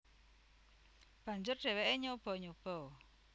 Banjur dheweke nyoba nyoba